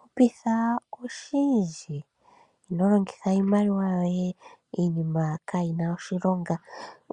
Hupitha oshindji inolongitha iimaliwa yoye iinima kayi na oshilonga.